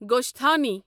گۄسٹھانی